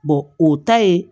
o ta ye